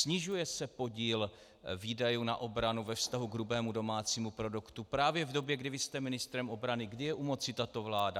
Snižuje se podíl výdajů na obranu ve vztahu k hrubému domácímu produktu právě v době, kdy vy jste ministrem obrany, kdy je u moci tato vláda.